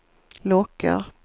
lockar